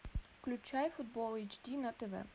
включай футбол эйч ди на тв